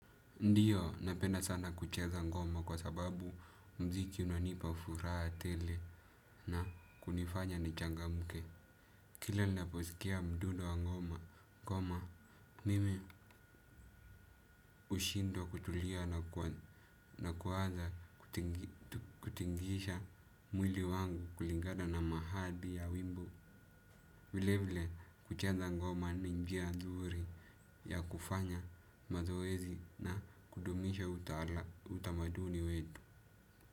Ndiyo napenda sana kucheza ngoma kwa sababu mziki unanipa furaha tele na kunifanya nichangamke. Kila ninaposikia mdudo wa ngoma, koma mimi hushindwa kutulia na kuanza kutingisha mwili wangu kulingana na mahadi ya wimbo. Vile vile kucheza ngoma ni njia nzuri ya kufanya mazoezi na kudumisha utamaduni wetu.